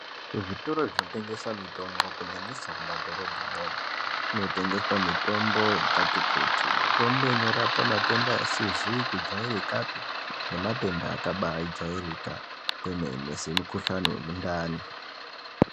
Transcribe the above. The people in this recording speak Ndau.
Kuzvitoro zvinotengesa mitombo kunyanyisa mumadhorobhamwo, munotengeswa mitombo yakati kuti mitombo inorapa matenda asizi kujairikapi nematenda akabajairika kwemene semukohlani wemundani.